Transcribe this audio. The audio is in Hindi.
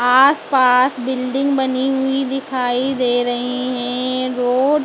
आसपास बिल्डिंग बनी हुई दिखाई दे रहें हैं रोड ।